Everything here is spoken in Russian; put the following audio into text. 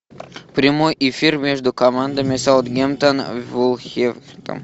прямой эфир между командами саутгемптон и вулверхэмптон